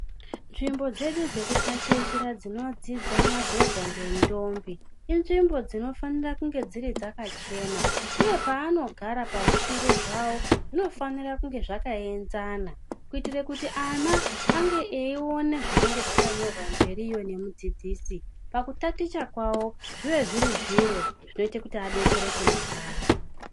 Nzvimbo dzedu dzekutatichira dzinodzidza madhodha ngendombi inzvimbo dzinofanire kunge dziri dzakachena uye pavanogara pazvituru zvawo zvinofanire kunge zvakaenzana kuitire kuti ana ange eiona zvinenge zvakanyorwa mberiyo ngemudzidzisi pakutaticha kwawo zviwe zviri zviro zvinoite kuti adetsereke mangwani.